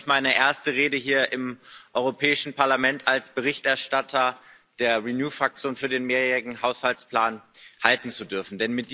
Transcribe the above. Ich freue mich, meine erste Rede hier im Europäischen Parlament als Berichterstatter der Renew Fraktion für den mehrjährigen Finanzrahmen halten zu dürfen.